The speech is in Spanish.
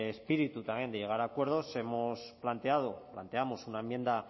ese espíritu también de llegar a acuerdos hemos planteado planteamos una enmienda